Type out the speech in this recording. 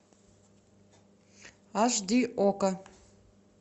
аш ди окко